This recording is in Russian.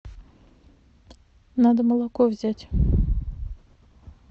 надо молоко взять